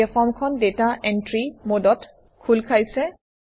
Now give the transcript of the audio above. এতিয়া ফৰ্মখন data entry মডত খোল খাইছে